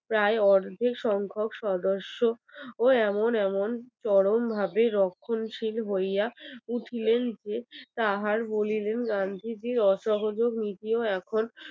প্রায় অর্ধেক সংখ্যক সদস্য ও এমন এমন চরমভাবে রক্ষণশীল হইয়া উঠলেন যে গান্ধীজীর অসহযোগ নীতিও এখন